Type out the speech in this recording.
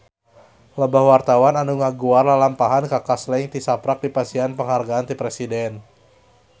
Loba wartawan anu ngaguar lalampahan Kaka Slank tisaprak dipasihan panghargaan ti Presiden